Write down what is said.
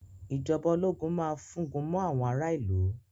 Ìjọba ológun máa fúngun mọ àwọn ará ìlú.